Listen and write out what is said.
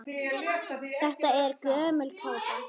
Þetta er gömul kápa.